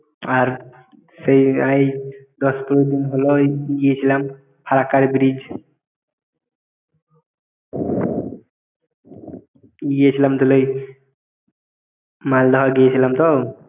আর সেই এই দশ পনের দিন হলো ওই গিয়েছিলাম ফারাক্কার bridge গিয়েছিলাম তাহলে মালদায় গিয়েছিলাম তো